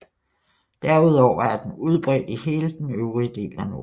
Derudover er den udbredt i hele den øvrige del af Norden